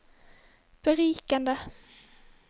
berikende